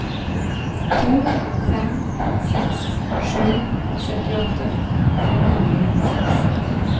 to fem seks sju syttiåtte fem hundre og nittiseks